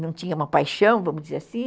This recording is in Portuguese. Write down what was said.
Não tinha uma paixão, vamos dizer assim.